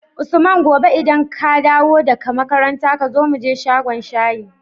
usman gobe idan kadawo da ka makaranta kazo muje shagon shayi